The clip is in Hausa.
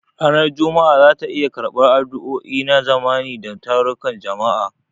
Ranar Juma'a za ta iya karɓar addu'o'i na zamani da tarukan jama'a.